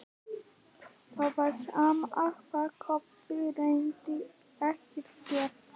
Það var sama hvað Kobbi reyndi, ekkert gekk.